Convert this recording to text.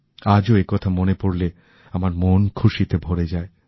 আজও এ কথা মনে পড়লেআমার মন খুশিতে ভরে যায়